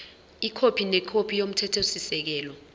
ikhophi nekhophi yomthethosisekelo